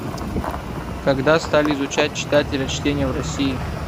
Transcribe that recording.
когда стали изучать читателя чтение в россии